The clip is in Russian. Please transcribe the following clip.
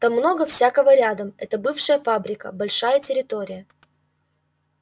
там много всякого рядом это бывшая фабрика большая территория